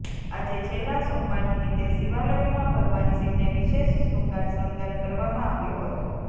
આજે છેલ્લા સોમવાર નિમીતે શિવાલયોમાં ભગવાન શિવને વિશેષ શંૃગાર શણગાર કરવામાં આવ્યો હતો